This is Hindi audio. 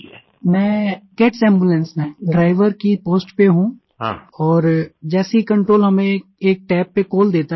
प्रेम जी मैं कैट्स एम्बुलेंस में ड्राइवर की पोस्ट पर हूँ और जैसे ही कंट्रोल हमें एक तब पर कॉल देता है